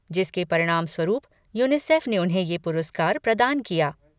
जिसके परिणामस्वरूप यूनिसेफ़ ने उन्हें यह पुरस्कार प्रदान किया।